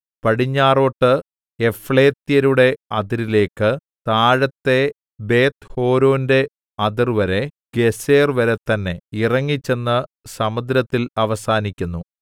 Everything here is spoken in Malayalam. പടിഞ്ഞാറോട്ട് യഫ്ളേത്യരുടെ അതിരിലേക്ക് താഴത്തെ ബേത്ത്ഹോരോന്റെ അതിർവരെ ഗേസെർവരെ തന്നേ ഇറങ്ങിച്ചെന്ന് സമുദ്രത്തിൽ അവസാനിക്കുന്നു